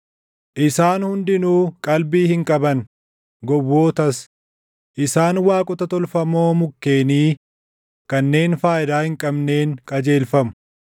Isaan hundinuu qalbii hin qaban; gowwootas; isaan waaqota tolfamoo mukkeenii kanneen faayidaa hin qabneen qajeelfamu.